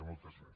moltes gràcies